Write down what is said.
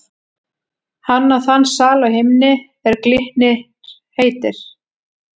Hann á þann sal á himni, er Glitnir heitir.